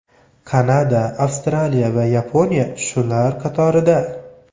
Kanada, Avstraliya va Yaponiya shular qatorida.